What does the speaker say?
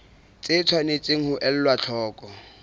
tse tshwanetseng ho elwa hloko